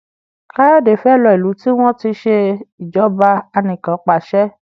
Kayode fè ló ilú tí wón ṣe Ìṣèjọba Anìkanpàṣẹ